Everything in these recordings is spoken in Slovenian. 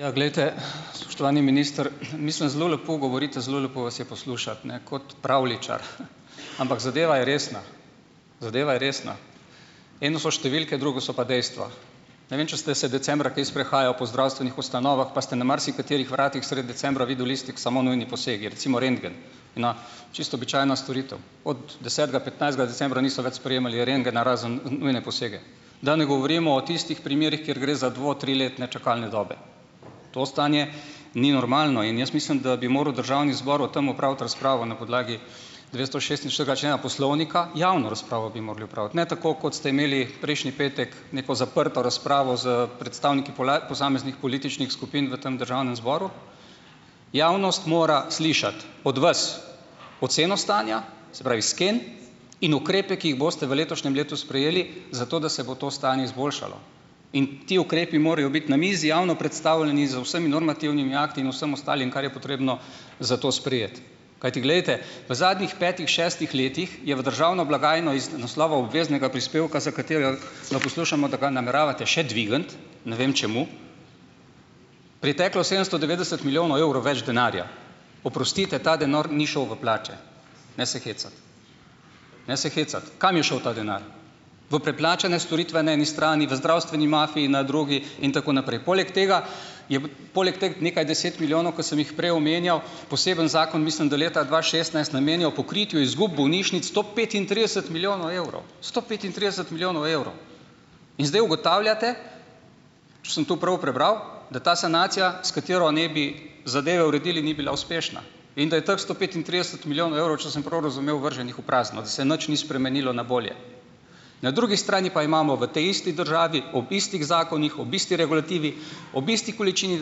Ja, glejte, spoštovani minister, mislim, zelo lepo govorite, zelo lepo vas je poslušati, ne. Kot pravljičar. Ampak zadeva je resna, zadeva je resna. Eno so številke, drugo so pa dejstva. Ne vem, če ste se decembra kaj sprehajal po zdravstvenih ustanovah, pa ste na marsikaterih vratih sredi decembra videl listek - samo nujni posegi - recimo rentgen, na čisto običajna storitev. Od desetega, petnajstega decembra niso več sprejemali rentgena, razen nujne posege. Da ne govorimo o tistih primerih, kjer gre za dvo-, triletne čakalne dobe. To stanje ni normalno in jaz mislim, da bi moral državni zbor o tem opraviti razpravo na podlagi dvestošestinštiridesetega člena poslovnika. Javno razpravo bi mogli opraviti, ne tako, kot ste imeli prejšnji petek neko zaprto razpravo s predstavniki posameznih političnih skupin v tem državnem zboru. Javnost mora slišati od vas oceno stanja, se pravi sken in ukrepe, ki jih boste v letošnjem letu sprejeli, zato, da se bo to stanje izboljšalo, in ti ukrepi morejo biti na mizi javno predstavljeni, z vsemi normativnimi akti in vsem ostalim, kar je potrebno za to sprejeti. Kajti glejte, v zadnjih petih, šestih letih je v državno blagajno iz naslova obveznega prispevka, za katera, ga poslušamo, da ga nameravate še dvigniti - ne vem čemu - priteklo sedemsto devetdeset milijonov evrov več denarja. Oprostite, ta denar ni šel v plače, ne se hecati. Ne se hecati. Kam je šel ta denar? V preplačane storitve na eni strani? V zdravstveno mafijo na drugi? In tako naprej. Poleg tega, je poleg teh nekaj deset milijonov, ki sem jih prej omenjal, poseben zakon, mislim, da leta dva šestnajst, namenjal pokritju izgub bolnišnic sto petintrideset milijonov evrov. Sto petintrideset milijonov evrov. In zdaj ugotavljate, če sem tu prav prebral, da ta sanacija, s katero naj bi zadeve uredili, ni bila uspešna, in da je teh sto petintrideset milijonov evrov, če sem prav razumel, vrženih v prazno, da se nič ni spremenilo na bolje. Na drugi strani pa imamo v tej isti državi, ob istih zakonih, ob isti regulativi, ob isti količini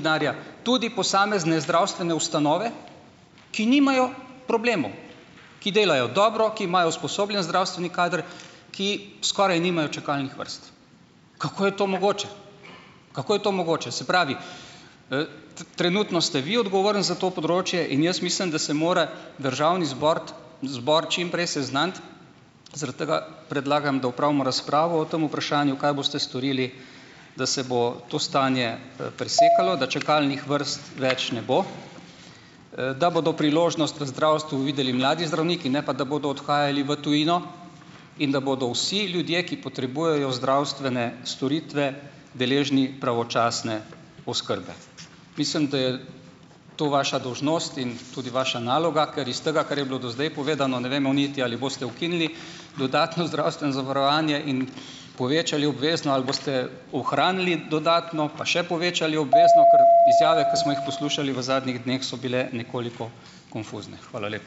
denarja tudi posamezne zdravstvene ustanove, ki nimajo problemov, ki delajo dobro, ki imajo usposobljen zdravstveni kader, ki skoraj nimajo čakalnih vrst. Kako je to mogoče? Kako je to mogoče? Se pravi, trenutno ste vi odgovoren za to področje in jaz mislim, da se mora državni zbort zbor čim prej seznaniti, zaradi tega predlagam, da opravimo razpravo o tem vprašanju, kaj boste storili, da se bo to stanje, presekalo, da čakalnih vrst več ne bo, da bodo priložnost v zdravstvu videli mladi zdravniki, ne pa da bodo odhajali v tujino in da bodo vsi ljudje, ki potrebujejo zdravstvene storitve, deležni pravočasne oskrbe. Mislim, da je to vaša dolžnost in tudi vaša naloga, ker iz tega, kar je bilo do zdaj povedano, ne vemo niti, ali boste ukinili dodatno zdravstveno zavarovanje in povečali obvezno ali boste ohranili dodatno, pa še povečali obvezno. Ker izjave, ki smo jih poslušali v zadnjih dneh, so bile nekoliko konfuzne. Hvala lepa.